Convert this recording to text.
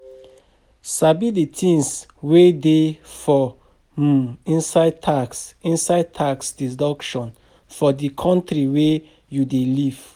Sabi the things wey dey for um inside tax inside tax deduction for di country wey you dey live